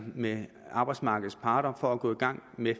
med arbejdsmarkedets parter på at gå i gang med